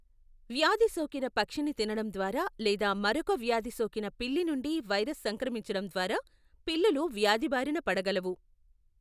వ్యాధి సోకిన పక్షిని తినడం ద్వారా లేదా మరొక వ్యాధి సోకిన పిల్లి నుండి వైరస్ సంక్రమించడం ద్వారా పిల్లులు వ్యాధి బారిన పడగలవు.